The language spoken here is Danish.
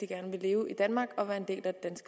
gerne vil leve i danmark og være en del af det